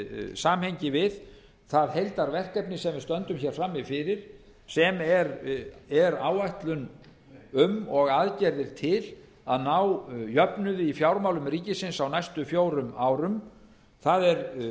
samhengi við það heildarverkefni sem við stöndum hér frammi fyrir sem er áætlun um og aðgerðir til að ná jöfnuði í fjármálum ríkisins á næstu fjórum árum það er